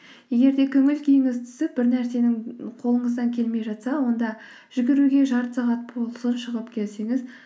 егер де көңіл күйіңіз түсіп бір нәрсенің қолыңыздан келмей жатса онда жүгіруге жарты сағат болсын шығып келсеңіз